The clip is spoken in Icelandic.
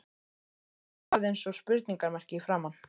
Tóti varð eins og spurningarmerki í framan.